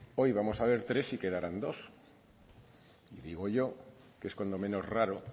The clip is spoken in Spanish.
hoy vamos a ver tres y quedarán dos y digo yo que es cuando menos raro